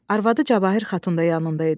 Arvadı Cahir Xatun da yanında idi.